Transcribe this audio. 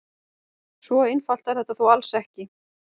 Svo einfalt er þetta þó alls ekki.